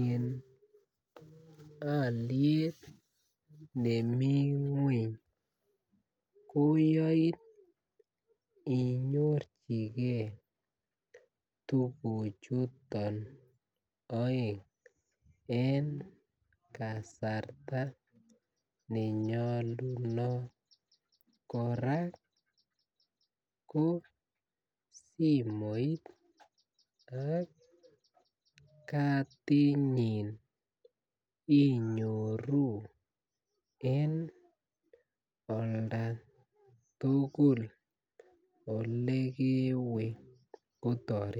en aliet nemi ngweny koyain inyorchigei tuguk chuton aeng en kasarta nenyalunot koraa KO simoit ak katit nyin inyoru en olda tugul ole kewe kotaretin